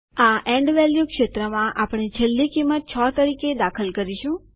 આ end value ક્ષેત્રમાં આપણે છેલ્લી કિંમત 6 તરીકે દાખલ કરીશું